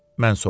Mən soruşdum.